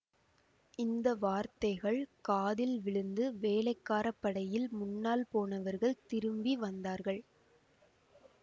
இந்த வார்த்தைகள் காதில் விழுந்து வேளைக்கார படையில் முன்னால் போனவர்கள் திரும்பி வந்தார்கள்